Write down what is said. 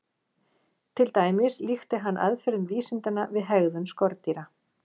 Til dæmis líkti hann aðferðum vísindanna við hegðun skordýra.